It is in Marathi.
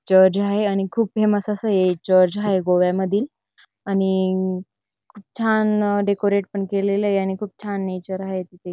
चर्च हाये आणि खूप फेमस अस हे चर्च हाये गोव्यामधील आणि खूप छान डेकोरेट पण केलेलय आणि खूप छान नेचर आहे तिथे.